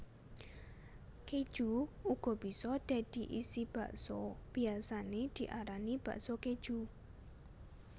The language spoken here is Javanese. Kéju uga bisa dadi isi bakso biyasané diarani bakso kéju